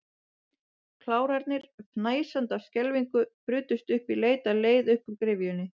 Klárarnir, fnæsandi af skelfingu, brutust um í leit að leið upp úr gryfjunni.